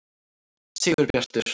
Sigurbjartur